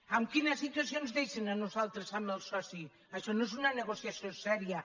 amb quina situació ens deixen a nosaltres amb el soci això no és una negociació seriosa